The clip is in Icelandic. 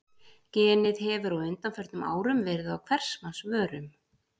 Genið hefur á undanförnum árum verið á hvers manns vörum.